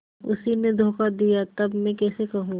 उसी ने धोखा दिया तब मैं कैसे कहूँ